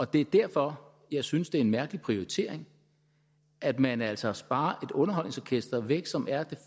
det er derfor jeg synes det er en mærkelig prioritering at man altså sparer et underholdningsorkester væk som er